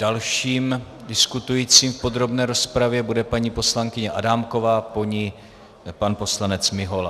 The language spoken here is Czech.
Dalším diskutujícím v podrobné rozpravě bude paní poslankyně Adámková, po ní pan poslanec Mihola.